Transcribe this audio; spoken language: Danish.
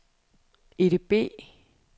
EDB